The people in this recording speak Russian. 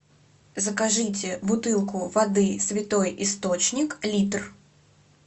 закажите бутылку воды святой источник литр